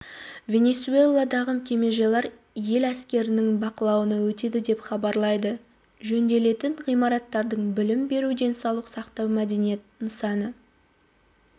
венесуэладағы кемежайлар ел әскерінің бақылауына өтеді деп хабарлайды жөнделетін ғимараттардың білім беру денсаулық сақтау мәдениет нысаны